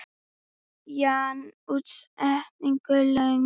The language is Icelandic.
Jan útsetur lögin.